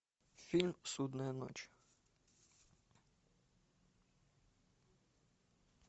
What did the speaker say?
фильм судная ночь